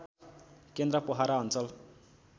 केन्द्र पोखरा अञ्चल